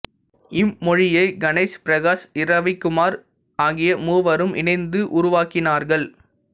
இம்மொழியை கணேஷ் பிரகாஷ் இரவிக்குமார் ஆகிய மூவரும் இணைந்து உருவாக்கினார்கள்